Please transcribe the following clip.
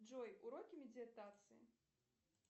джой уроки медитации